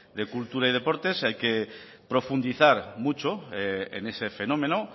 de cultura y deportes hay que profundizar mucho en ese fenómeno